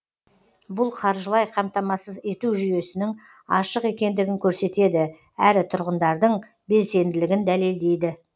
бұл қаржылай қамтамасыз ету жүйесінің ашық екендігін көрсетеді әрі тұрғындардың белсенділігін дәлелдейді